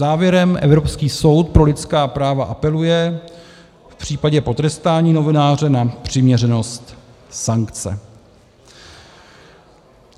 Závěrem Evropský soud pro lidská práva apeluje v případě potrestání novináře na přiměřenost sankce.